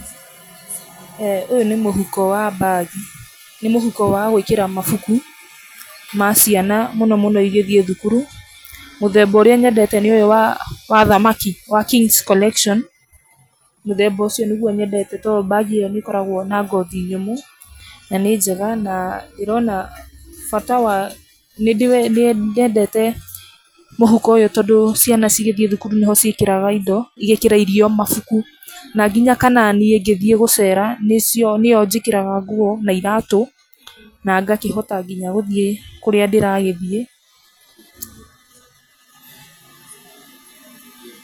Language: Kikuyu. eeh Ũyũ nĩ mũhuko wa bag, nĩ mũhuko wa gwĩkĩra mabuku ma ciana mũno mũno igĩthiĩ thukuru. Mũthemba ũrĩa nyendete nĩ ũyũ wa wa athamaki, wa Kings Collection. Mũthemba ũcio nĩguo nyendete to bag ĩyo nĩ ĩkoragwo na ngothi nyũmũ, na nĩ njega. Na nĩ ndĩrona bata wa, nĩ nyendete mũhuko ũyũ, tondũ ciana cigĩthiĩ thukuru nĩ ho ciĩkĩraga indo, igekĩra irio, mabuku na nginya kana niĩ ingĩthiĩ gũcera, nĩ cio nĩ yo njĩkĩraga nguo na iratũ, na ngakĩhota nginya gũthiĩ kũrĩa ndĩragĩthiĩ.